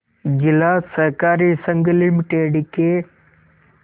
जिला सहकारी संघ लिमिटेड के